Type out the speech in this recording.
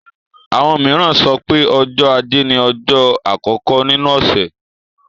Àwọn mìíràn sọ pé ọjọ́ ajé ni ọjọ́ àkọ́kọ́ nínú ọ̀sẹ̀.